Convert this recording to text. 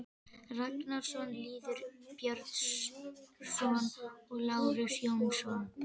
Ragnarsson, Lýður Björnsson og Lárus Jónsson.